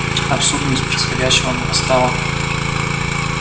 абсурдность происходящего нарастала